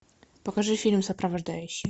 покажи фильм сопровождающий